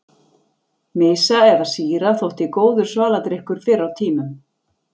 Mysa eða sýra þótti góður svaladrykkur fyrr á tímum.